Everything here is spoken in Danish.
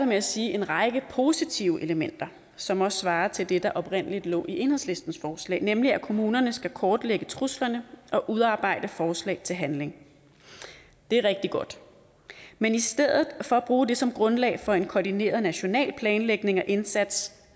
med at sige en række positive elementer som også svarer til det der oprindelig lå i enhedslistens forslag nemlig at kommunerne skal kortlægge truslerne og udarbejde forslag til handling det er rigtig godt men i stedet for at bruge det som grundlag for en koordineret national planlægning og indsats